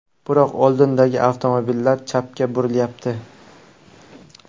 Biroq oldindagi avtomobillar chapga burilyapti.